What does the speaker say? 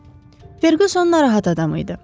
Ferquson narahat adam idi.